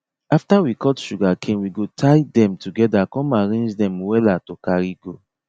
after we cut sugarcane we go tie dem together come arrange dem wella to carry go